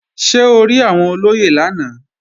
Ṣé o rí àwọn olóyè lánàá?